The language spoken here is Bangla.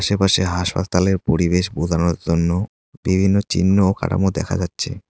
এপাশে হাসপাতালের পরিবেশ বোজানোর জন্য বিভিন্ন চিহ্ন ও কাঠামো দেখা যাচ্ছে।